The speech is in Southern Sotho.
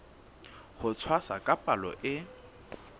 ho tshwasa ka palo e